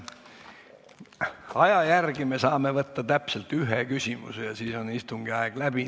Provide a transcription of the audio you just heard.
Aja järgi saame me võtta täpselt ühe küsimuse ja siis on istung läbi.